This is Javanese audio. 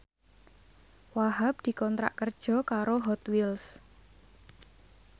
Wahhab dikontrak kerja karo Hot Wheels